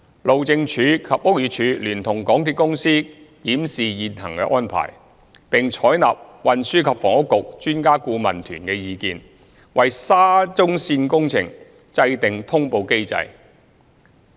路政署及屋宇署聯同港鐵公司檢視現行安排，並採納專家顧問團的意見，為沙中線工程制訂通報機制。